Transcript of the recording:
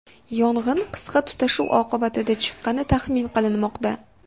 Yong‘in qisqa tutashuv oqibatida chiqqani taxmin qilinmoqda.